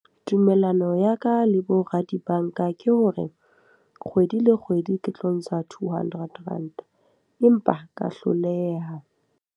Tumellano ya ka le bo ra dibanka ke hore, kgwedi le kgwedi ke tlo ntsha two hundred Ranta. Empa ka hloleha.